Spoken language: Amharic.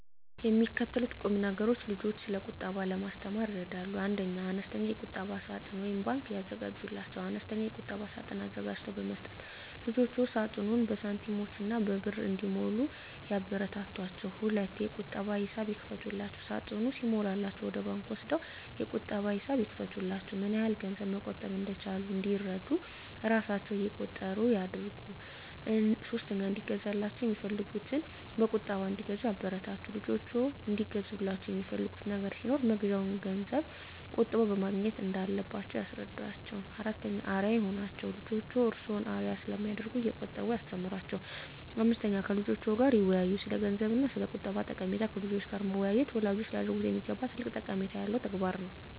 የሚከተሉት ቁምነገሮች ልጆችን ስለቁጠባ ለማስተማር ይረዳሉ 1. አነስተኛ የቁጠባ ሳጥን (ባንክ) ያዘጋጁላቸው፦ አነስተኛ የቁጠባ ሳጥን አዘጋጅቶ በመስጠት ልጆችዎ ሳጥኑን በሳንቲሞችና በብር እንዲሞሉ ያበረታቷቸው። 2. የቁጠባ ሂሳብ ይክፈቱላቸው፦ ሳጥኑ ሲሞላላቸው ወደ ባንክ ወስደው የቁጠባ ሂሳብ ይክፈቱላቸው። ምንያህል ገንዘብ መቆጠብ እንደቻሉ እንዲረዱ እራሣቸው እቆጥሩ ያድርጉ። 3. እንዲገዛላቸው የሚፈልጉትን በቁጠባ እንዲገዙ ያበረታቱ፦ ልጆችዎ እንዲገዙላቸው የሚፈልጉት ነገር ሲኖር መግዣውን ገንዘብ ቆጥበው ማግኘት እንዳለባቸው ያስረዷቸው። 4. አርአያ ይሁኗቸው፦ ልጆችዎ እርስዎን አርአያ ስለሚያደርጉ እየቆጠቡ ያስተምሯቸው። 5. ከልጆችዎ ጋር ይወያዩ፦ ስለገንዘብ እና ስለቁጠባ ጠቀሜታ ከልጆች ጋር መወያየት ወላጆች ሊያደርጉት የሚገባ ትልቅ ጠቀሜታ ያለው ተግባር ነው።